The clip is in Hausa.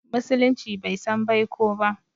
Musulunci bai san baiko ba